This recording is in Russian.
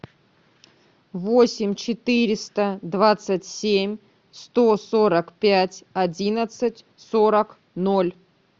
восемь четыреста двадцать семь сто сорок пять одиннадцать сорок ноль